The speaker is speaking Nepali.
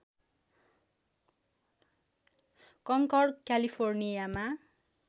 कङ्कर्ड क्यालिफोर्नियामा